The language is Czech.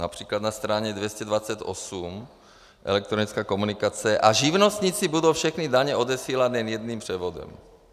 Například na straně 228, elektronická komunikace: a živnostníci budou všechny daně odesílat jen jedním převodem.